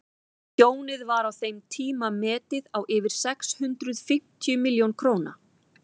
tjónið var á þeim tíma metið á yfir sex hundruð fimmtíu milljón dollara